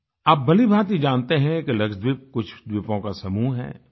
आप भलीभांति जानते है कि लक्षद्वीप कुछ द्वीपों का समूह है